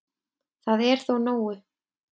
Það er þó nógu